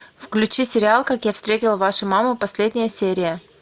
включи сериал как я встретил вашу маму последняя серия